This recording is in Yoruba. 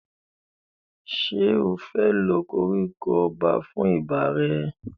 Ṣé o fẹ́ lo koríko ọba fún ibà rẹ?